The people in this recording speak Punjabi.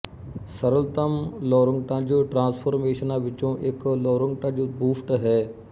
ਸਰਲਤਮ ਲੌਰੰਟਜ਼ ਟਰਾਂਸਫੋਰਮੇਸ਼ਨਾਂ ਵਿੱਚੋਂ ਇੱਕ ਲੌਰੰਟਜ਼ ਬੂਸਟ ਹੈ